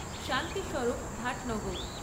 Shanti Swarup Bhatnagar